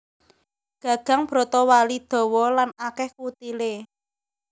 Gagang brotowali dawa lan akèh kutilé